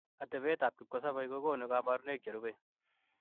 Atepeet ak kipkosobeei kokonuu kabarunaik cherubei